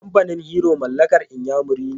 Kamfanin Hero mallakar inyamuri ne.